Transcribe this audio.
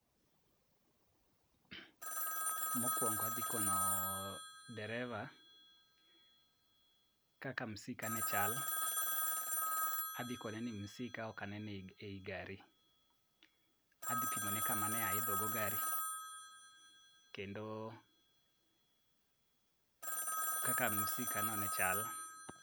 Mokwongo adhi kono dereva kaka msika ne chal, adhi kone ni msika ok aneno ei gari. Adhi pimone kama ne aidhogo gari kendo kaka msikano ne chal.